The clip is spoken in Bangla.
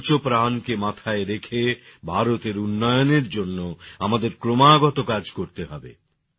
পঞ্চপ্রাণকে মাথায় রেখে ভারতের উন্নয়নের জন্য আমাদের ক্রমাগত কাজ করতে হবে